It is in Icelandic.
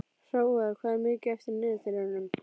Hróar, hvað er mikið eftir af niðurteljaranum?